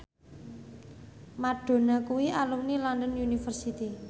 Madonna kuwi alumni London University